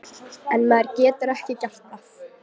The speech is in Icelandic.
En maður getur ekki gert það.